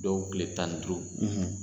Dɔw kile tan ni duuru.